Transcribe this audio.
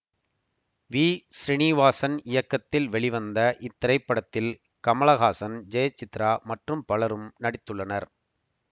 we Srinivasan இயக்கத்தில் வெளிவந்த இத்திரைப்படத்தில் கமல ஹாசன் ஜெயசித்ரா மற்றும் பலரும் நடித்துள்ளனர்